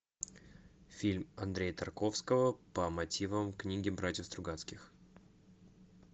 фильм андрея тарковского по мотивам книги братьев стругацких